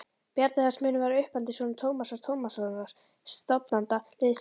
Bjarni þessi mun vera uppeldissonur Tómasar Tómassonar, stofnanda liðsins.